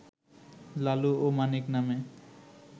লালু ও মানিক নামে